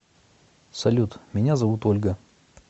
салют меня зовут ольга